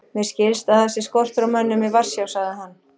Mér skilst að það sé skortur á mönnum í Varsjá sagði hann.